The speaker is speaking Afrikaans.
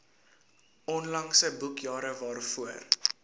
onlangse boekjare waarvoor